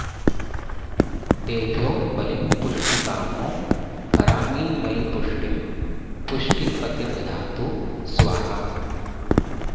तेभ्यो बलिं पुष्टिकामो हरामि मयि पुष्टिं पुष्टिपतिर्दधातु स्वाहा